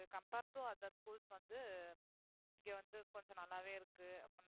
compare to other schools வந்து இங்க வந்து கொஞ்சம் நல்லாவே இருக்கு அப்படின்னு